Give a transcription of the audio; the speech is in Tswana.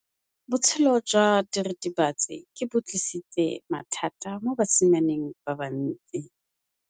Botshelo jwa diritibatsi ke bo tlisitse mathata mo basimaneng ba bantsi.